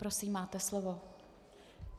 Prosím, máte slovo.